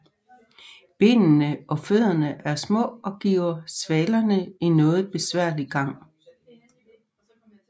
Benene og fødderne er små og giver svalerne en noget besværlig gang